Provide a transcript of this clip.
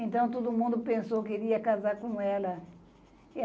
Então, todo mundo pensou que ele ia casar com ela.